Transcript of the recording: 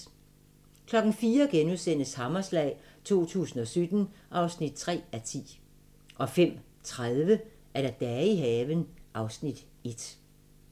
04:00: Hammerslag 2017 (3:10)* 05:30: Dage i haven (Afs. 1)